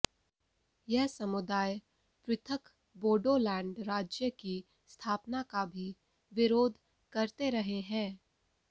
यह समुदाय पृथक बोडो लैंड राज्य की स्थापना का भी विरोध करते रहे हैं